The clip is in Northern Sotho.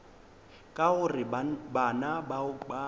ka gore bana bao ba